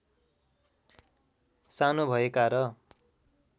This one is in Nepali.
सानो भएका र